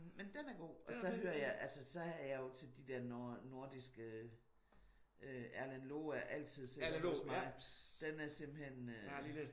Men den er god. Og så hører jeg altså så er jeg jo til de der nordiske Erlend Loe er altid sikker hos mig. Den er simpelthen